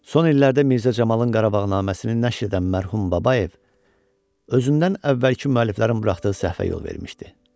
Son illərdə Mirzə Camalın Qarabağnaməsinin nəşr edən mərhum Babayev özündən əvvəlki müəlliflərin buraxdığı səhvə yol vermişdi.